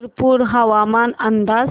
शिरपूर हवामान अंदाज